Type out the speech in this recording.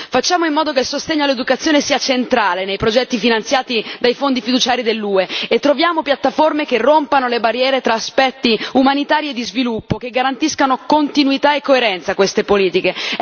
Facciamo in modo che il sostegno all'educazione sia centrale nei progetti finanziati dai fondi fiduciari dell'UE e troviamo piattaforme che rompano le barriere tra aspetti umanitari e di sviluppo, che garantiscano continuità e coerenza a queste politiche.